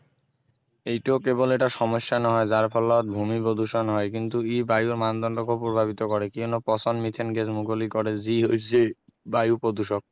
এইটোও কেৱল এটা সমস্যা নহয় যাৰ ফলত ভূমি প্ৰদূষণ হয় কিন্তু ই বায়ুৰ মানদণ্ডকো প্ৰভাৱিত কৰে কিয়নো প্ৰচণ্ড মিথেন গেছ মুকলি কৰে যি হৈছে বায়ু প্ৰদূষক